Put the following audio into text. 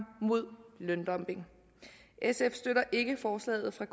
mod løndumping sf støtter ikke forslaget fra